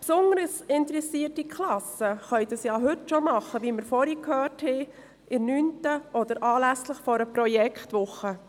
Wie wir gerade gehört haben, können es besonders interessierte Klassen heute schon tun, in der 9. Klasse oder anlässlich einer Projektwoche.